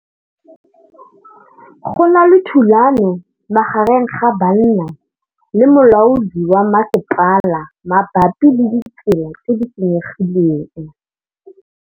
Go na le thulanô magareng ga banna le molaodi wa masepala mabapi le ditsela tse di senyegileng.